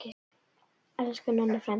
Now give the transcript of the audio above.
Elsku Nonni frændi.